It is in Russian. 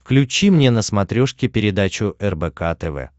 включи мне на смотрешке передачу рбк тв